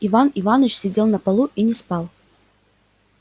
иван иваныч сидел на полу и не спал